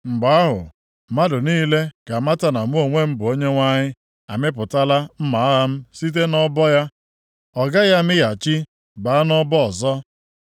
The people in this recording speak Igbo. Mgbe ahụ, mmadụ niile ga-amata na mụ onwe m bụ Onyenwe anyị amịpụtala mma agha m site nʼọbọ ya, ọ gaghị amịghachi baa nʼọbọ ọzọ.’